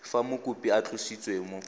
fa mokopi a tlositswe mo